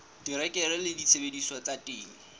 terekere le disebediswa tsa temo